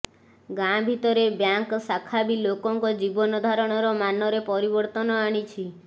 ଗାଁ ଭିତରେ ବ୍ୟାଙ୍କ୍ ଶାଖା ବି ଲୋକଙ୍କ ଜୀବନଧାରଣର ମାନରେ ପରିବର୍ତ୍ତନ ଆଣିଛି